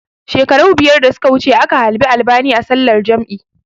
Shekaru biyar da suka wuce aka halbi albani a sallar jam'i